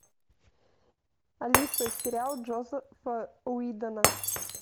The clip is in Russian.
алиса сериал джозефа уидона